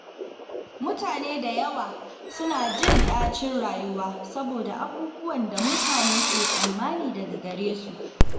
Mutane da yawa suna jin ɗacin rayuwa saboda abubuwan da mutane ke tsammani daga gare su.